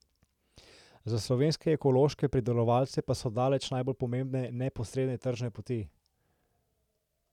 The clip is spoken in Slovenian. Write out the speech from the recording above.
Za slovenske ekološke pridelovalce pa so daleč najbolj pomembne neposredne tržne poti.